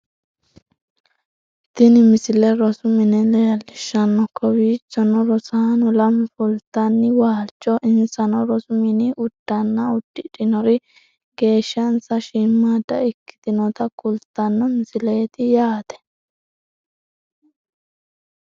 tini misile rosu mine leellishshanno kowiichono rosaano lamu fultanna waalcho insano rosu mini uddano uddidhinori geeshshansa shiimmadda ikkitinota kultanno misileeti yaate